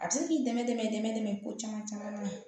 A bɛ se k'i dɛmɛ i dɛmɛ ko caman caman mɛn